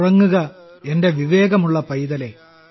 ഉറങ്ങുക എന്റെ വിവേകമുള്ള പൈതലേ